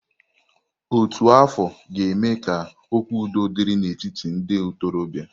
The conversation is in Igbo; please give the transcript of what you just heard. Ótù afọ ga-eme ka okwu udo dịrị n'etiti ndị ntorobịa.